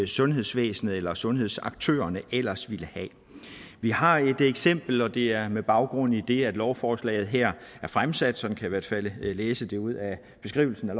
sundhedsvæsenet eller sundhedsaktørerne ellers ville have vi har et eksempel og det er med baggrund i det at lovforslaget her er fremsat sådan kan hvert fald læse det ud af beskrivelsen af